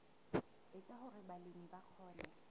etsa hore balemi ba kgone